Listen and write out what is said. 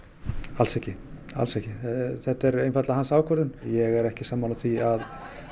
alls ekki alls ekki þetta er einfaldlega hans ákvörðun ég er ekki sammála því að